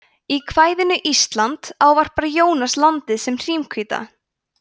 í kvæðinu ísland ávarpar jónas landið sem hrímhvíta